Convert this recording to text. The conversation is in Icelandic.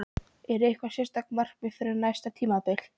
Er eitthvað sérstakt markmið fyrir næsta tímabil?